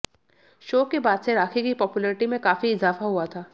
show के बाद से राखी की पॉपुलैरिटी में काफी इजाफा हुआ था